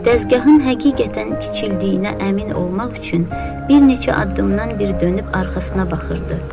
Təzgahın həqiqətən kiçildiyinə əmin olmaq üçün bir neçə addımdan bir dönüb arxasına baxırdı.